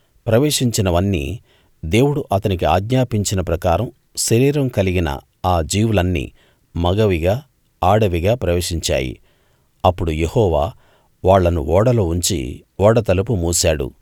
ప్రవేశించినవన్నీ దేవుడు అతనికి ఆజ్ఞాపించిన ప్రకారం శరీరం కలిగిన ఆ జీవులన్నీ మగవిగా ఆడవిగా ప్రవేశించాయి అప్పుడు యెహోవా వాళ్ళను ఓడలో ఉంచి ఓడ తలుపు మూశాడు